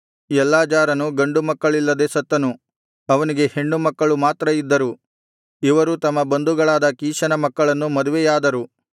ಎಲ್ಲಾಜಾರನು ಗಂಡು ಮಕ್ಕಳಿಲ್ಲದೆ ಸತ್ತನು ಅವನಿಗೆ ಹೆಣ್ಣು ಮಕ್ಕಳು ಮಾತ್ರ ಇದ್ದರು ಇವರು ತಮ್ಮ ಬಂಧುಗಳಾದ ಕೀಷನ ಮಕ್ಕಳನ್ನು ಮದುವೆಯಾದರು